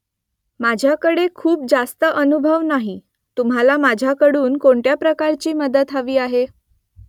माझ्याकडे खूप जास्त अनुभव नाही . तुम्हाला माझ्याकडून कोणत्या प्रकारची मदत हवी आहे ?